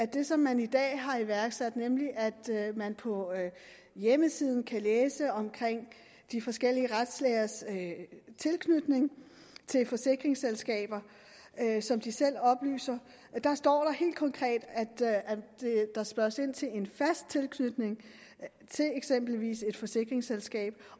det som man i dag har iværksat nemlig at man på hjemmesiden kan læse om de forskellige retslægers tilknytning til forsikringsselskaber som de selv oplyser der står der helt konkret at der spørges ind til en fast tilknytning til eksempelvis et forsikringsselskab